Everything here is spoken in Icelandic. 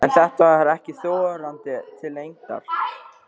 En þetta var ekki þorandi til lengdar.